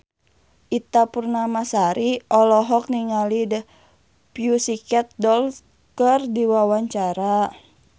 Ita Purnamasari olohok ningali The Pussycat Dolls keur diwawancara